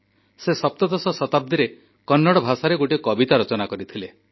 ସେ ସପ୍ତଦଶ ଶତାବ୍ଦୀରେ କନ୍ନଡ଼ ଭାଷାରେ ଗୋଟିଏ କବିତା ରଚନା କରିଥିଲେ